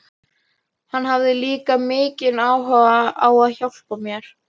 Hann hafði líka mikinn áhuga á að hjálpa mér.